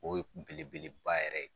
O ye beleba yɛrɛ ye